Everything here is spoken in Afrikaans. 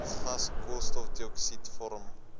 gas koolstofdioksied vorm